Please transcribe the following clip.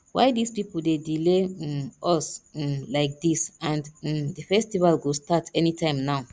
why dis people dey delay um us um like dis and um the festival go start anytime now